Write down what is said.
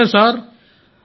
నిజమే సార్